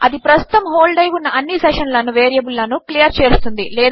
అది ప్రస్తుతము హోల్డ్ అయి ఉన్న అన్ని సెషన్ ల వేరియబుల్ లను క్లియర్ చేస్తుంది